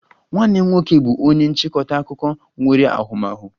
Nwanne m nwoke bụ onye nchịkọta akụkọ nwere ahụmahụ